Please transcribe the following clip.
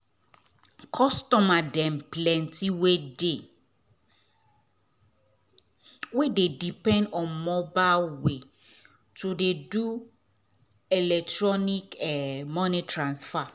customer dem plenty wey dey um depend um on mobile way to do electronic um moni transfer